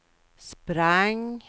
sprang